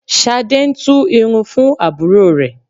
Ṣadé ń tú irun fún àbúrò rẹ̀